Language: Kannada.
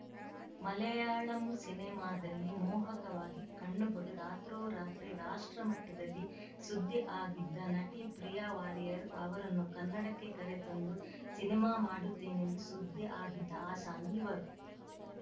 ಮಲಯಾಳಂ ಸಿನಿಮಾದಲ್ಲಿ ಮೋಹಕವಾಗಿ ಕಣ್ಣು ಹೊಡೆದು ರಾತ್ರೋರಾತ್ರಿ ರಾಷ್ಟ್ರ ಮಟ್ಟದಲ್ಲಿ ಸುದ್ದಿ ಆಗಿದ್ದ ನಟಿ ಪ್ರಿಯಾ ವಾರಿಯರ್‌ ಅವರನ್ನು ಕನ್ನಡಕ್ಕೆ ಕರೆ ತಂದು ಸಿನಿಮಾ ಮಾಡುತ್ತೇನೆಂದು ಸುದ್ದಿ ಆಗಿದ್ದ ಅಸಾಮಿ ಇವರು